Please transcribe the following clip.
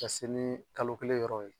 Ka se ni kalo kelen yɔrɔ ye